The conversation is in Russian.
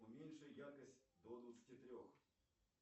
уменьши яркость до двадцати трех